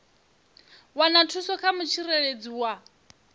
wana thuso kha mutsireledzi wa